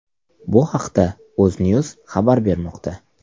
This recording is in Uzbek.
Bu haqda UzNews xabar berilmoqda .